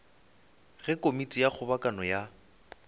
ge komiti ya kgobokano ya